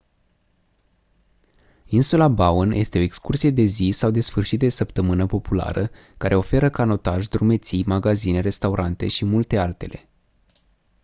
insula bowen este o excursie de zi sau de sfârșit de săptămână populară care oferă canotaj drumeții magazine restaurante și multe altele